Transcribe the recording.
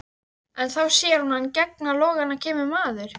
En þá sér hún að í gegnum logana kemur maður.